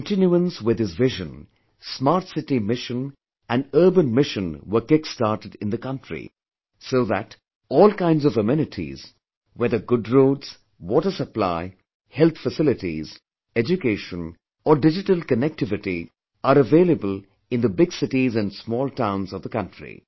In continuance with his vision, smart city mission and urban missionwere kickstarted in the country so that all kinds of amenities whether good roads, water supply, health facilities, Education or digital connectivity are available in the big cities and small towns of the country